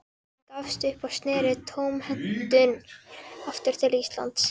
Hann gafst upp og sneri tómhentur aftur til Íslands.